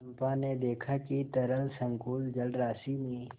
चंपा ने देखा कि तरल संकुल जलराशि में